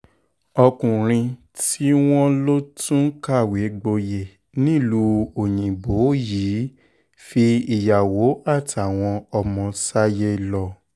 ọkùnrin tí wọ́n lọ tún kàwé gboyè nílùú òyìnbó yìí fi ìyàwó àtàwọn ọmọ sáyé lọ